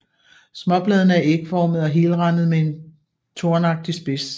Småbladene er ægformde og helrandede med en tornagtig spids